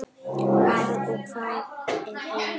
Hvað og hvar er heima?